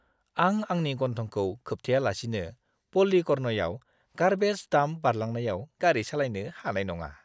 आं आंनि गन्थंखौ खोबथेयालासिनो पाल्लीकरनईआव गार्बेज डाम्प बारलांनायाव गारि सालायनो हानाय नङा!